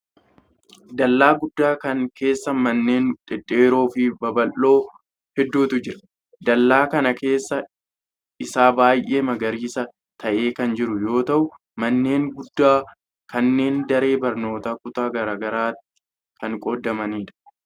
Dallaa guddaa kana keessa manneen dhedheeroo fi baballoo hedduutu jira. Dallaa kana keessi isaa baay'ee magariisa ta'ee kan jiru yoo ta'u, manneen guddaa kunneen daree barnootaa kutaa garaa garaatti kan qoodamanii dha.